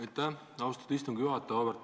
Aitäh, austatud istungi juhataja!